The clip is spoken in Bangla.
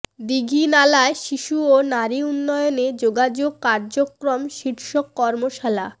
দীঘিনালায় শিশু ও নারী উন্নয়নে যোগাযোগ কার্যক্রম শীর্ষক কর্মশালা